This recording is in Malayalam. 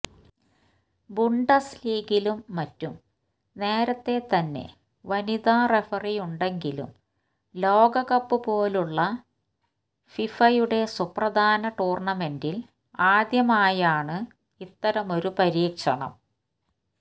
ബുണ്ടസ് ലീഗയിലും മറ്റും നേരത്തെ തന്നെ വനിതാ റഫറിയുണ്ടെങ്കിലും ലോകകപ്പ് പോലുള്ള ഫിഫയുടെ സുപ്രധാന ടൂർണമെന്റിൽ ആദ്യമായാണ് ഇത്തരമൊരു പരീക്ഷണം